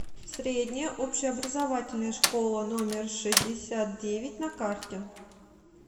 средняя общеобразовательная школа номер шестьдесят девять на карте